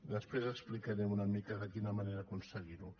després explicaré una mica de quina manera aconseguir ho